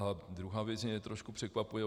A druhá věc mě trošku překvapuje.